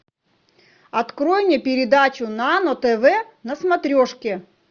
открой мне передачу нано тв на смотрешке